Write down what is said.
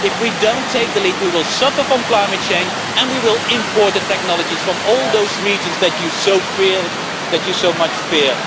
If we do not take the lead, we will suffer from climate change and will have to import the technologies from all those regions that you so much fear.